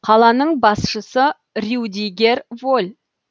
қаланың басшысы рюдигер воль